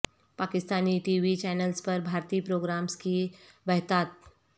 Pakistani TV channels پر بھارتی programmes کی بہتات